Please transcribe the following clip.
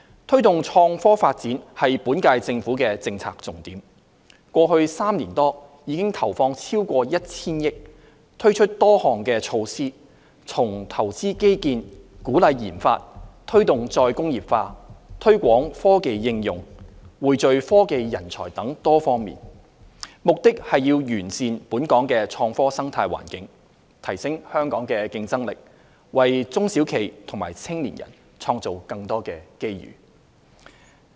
推動創科發展是本屆政府的政策重點，過去3年多已投放超過 1,000 億元，推出多項措施，包括投資基建、鼓勵研發、推動"再工業化"、推廣科技應用、匯聚科技人才等多方面，目的是完善本港的創科生態環境，提升香港的競爭力，為中小企和青年人創造更多機遇。